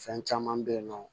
Fɛn caman bɛ yen nɔ